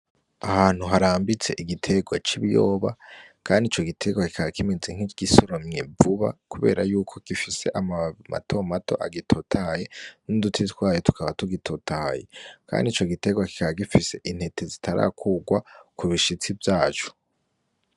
Ahantu harambitse igitegwa c'ibiyoba kandi ico gitegwa kikaba kimeze nkigisoromwe vuba, kubera yuko gifise amababi matomato agitotahaye n'uduti twayo tukaba tugitotahaye, kandi ico gitegwa kikaba gifise intete zitarakurwa kubishitsi vyaco.